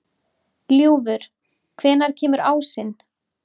Ljúfur, hvenær kemur ásinn?